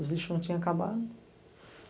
Os lixos não tinham acabado.